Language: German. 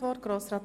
der SiK.